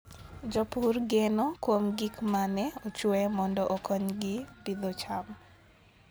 Jopur geno kuom gik ma ne ochwe mondo okonygi pidho cham.